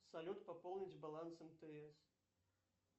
салют пополнить баланс мтс